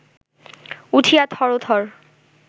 উঠিয়া থরথর